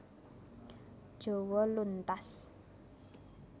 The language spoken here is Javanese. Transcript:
Jawa luntas